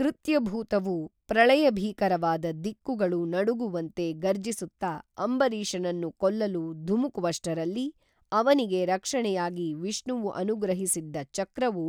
ಕೃತ್ಯಭೂತವು ಪ್ರಳಯಭೀಕರವಾದ ದಿಕ್ಕುಗಳು ನಡುಗುವಂತೆ ಗರ್ಜಿಸುತ್ತ ಅಂಬರೀಷನನ್ನು ಕೊಲ್ಲಲು ಧುಮುಕುವಷ್ಟರಲ್ಲಿ ಅವನಿಗೆ ರಕ್ಷಣೆಯಾಗಿ ವಿಷ್ಣುವು ಅನುಗ್ರಹಿಸಿದ್ದ ಚಕ್ರವು